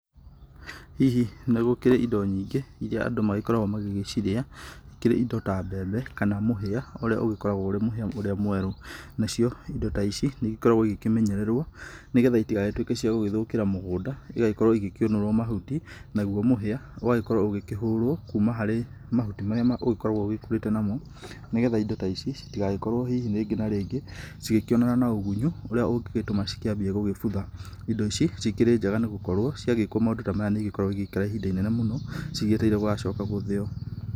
Hihi nĩ gũkĩrĩ indo nyingĩ irĩa andũ magĩkoragwo magĩcirĩa ikĩrĩ indo ta mbembe kana mũhĩa ũrĩa ũgĩkoragwo ũrĩ mũhĩa ũrĩa mwerũ nacio indo ta ici nĩ ikoragwo igĩkĩmenyererwo nĩgetha itigagĩtuĩke cia gũgĩthũkĩra mũgũnda ikĩonorwo mahuti, nagũo mũhia ũgagĩkorwo ũkĩhũrwo kũma harĩ mahuti marĩa ũgĩkoragwo ũgĩkũrĩte namo nĩgetha indo ta ici itigagĩkorwo hihi rĩngĩ na rĩngĩ cigĩkĩonana na ũgũnyo ũrĩa ũngĩgĩtũma cikĩambie gũgĩbutha indo ici cikĩrĩ njega nĩ tondũ cia gĩkwo maũndũ ta maya nĩ igĩkoragwo igĩikara ihinda iraihu mũno cigĩetereire gũgacoka gũthĩo.